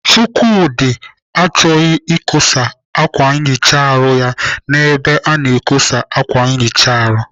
Chukwudi chọghị ikosa ákwà nchicha ahụ n'ebe a na-ekosa ákwà nchicha ahụ.